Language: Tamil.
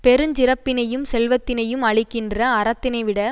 பெருஞ்சிறப்பினையும் செல்வத்தினையும் அளிக்கின்ற அறத்தினைவிட